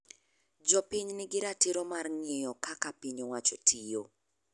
Jopiny ni gi ratiro mar ng'iyo kaka piny owacho tiyo.